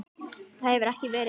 hefur það ekki verið vaninn?